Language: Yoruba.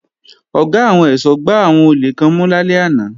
Ọ̀gá àwọn ẹ̀ṣọ́ gbá àwọn olè kan mú lálẹ́ àná